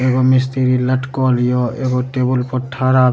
एगो मिस्त्री लटकल हियो एगो टेबुल पर ठरा --